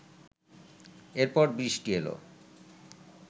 এরপর বৃষ্টি এলো